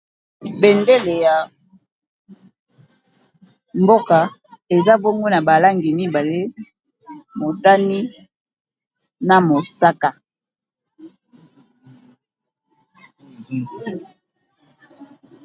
Bendele ya mboka eza bongo na balangi mibale te motani na mosaka.